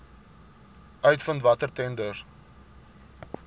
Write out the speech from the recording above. uitvind watter tenders